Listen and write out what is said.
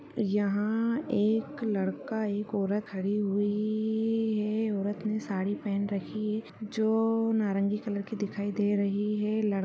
यहाँ-हा एक लड़का एक औरत खड़ी हुई ई-ई है औरत ने साड़ी पहन रखी है जो ओ-ओ नारंगी कलर की दिखाई दे रही है लड़ --